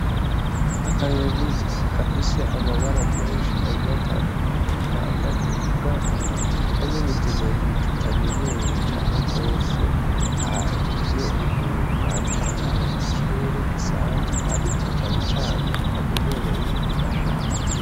Akanyoni gafise amabara menshi agiye atandukanye gahagaze ku gati kamwe mu tunyoni tutamenyerewe cane gose, hariyo Umuntu ariko araba mu kirere bisanzwe ariko cane cane kamenyerewe mu mashamba .